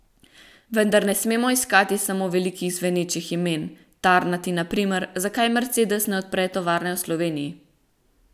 Vendar ne smemo iskati samo velikih zvenečih imen, tarnati na primer, zakaj Mercedes ne odpre tovarne v Sloveniji.